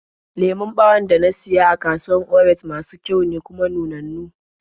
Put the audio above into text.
Lemon ɓawon da na siya a kasuwar Orenj masu kyau ne, kuma nunannu.